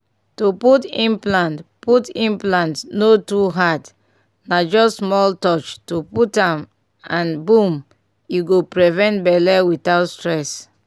to put implant put implant no too hard na just small touch to put am and boom e go prevent belle without stress!